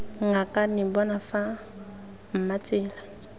ngakane bona fa mma tsela